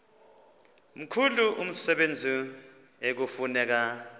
mkhulu umsebenzi ekufuneka